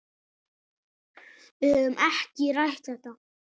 Við höfum ekki rætt þetta.